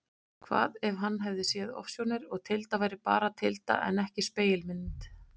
Hvað ef hann hafði séð ofsjónir og Tilda væri bara Tilda en ekki spegilmynd?